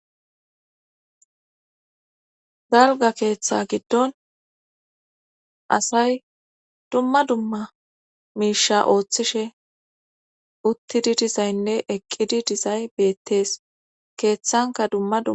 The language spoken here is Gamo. Galga keeththa giddon asay dumma dumma miisha ooththishe uttidi dizaynne eqqidi dizay beettees keeththanka dumma dum.